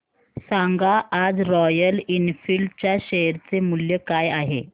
सांगा आज Royal Enfield च्या शेअर चे मूल्य काय आहे